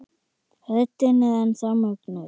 Röddin er enn þá mögnuð.